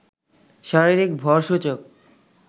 শারীরিক ভর সূচক